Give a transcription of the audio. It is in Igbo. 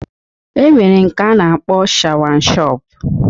E nwere nke a na-akpọ shawanshọp